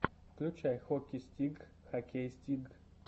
включай хоки стигг хоккей стигг